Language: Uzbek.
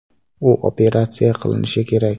U operatsiya qilinishi kerak.